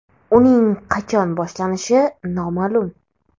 Uning qachon boshlanishi noma’lum.